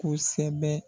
Kosɛbɛ